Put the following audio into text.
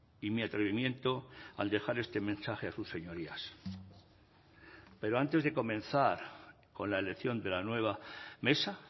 y mi atrevimiento al dejar este mensaje a sus señorías pero antes de comenzar con la elección de la nueva mesa